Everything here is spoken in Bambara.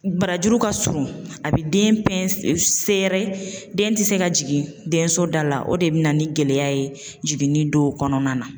Barajuru ka surun a bɛ den den ti se ka jigin denso da la, o de bina ni gɛlɛya ye jiginni dɔw kɔnɔna na.